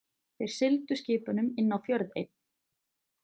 Þeir sigldu skipunum inn á fjörð einn.